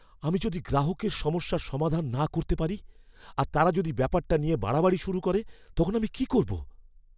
আমি যদি গ্রাহকের সমস্যার সমাধান না করতে পারি আর তারা যদি ব্যাপারটা নিয়ে বাড়াবাড়ি শুরু করে তখন আমি কি করবো?